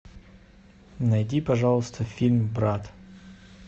найди пожалуйста фильм брат